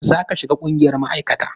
Za ka shiga ƙungiyar ma'aikata!